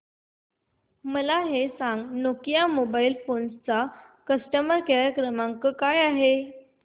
मला हे सांग नोकिया मोबाईल फोन्स चा कस्टमर केअर क्रमांक काय आहे